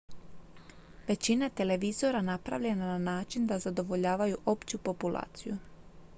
većina je televizora napravljena na način da zadovoljavaju opću populaciju